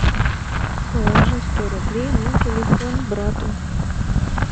положи сто рублей на телефон брату